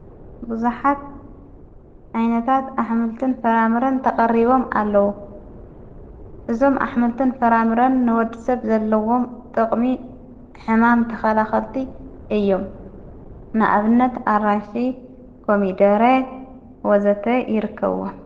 ብዙኃት ኣይነታት ኣሕምልትን ፈራምርን ተቐሪቦም ኣለዉ። እዞም ኣኅምልትን ፈራምርን ንወዲ ሰብ ዘለዎም ጠቕሚ ሕማም ተኸላኸልቲ እዮም። ንኣብነት ኣራሽ ፣ኮሚደረ ወዘተ ይርከዎ።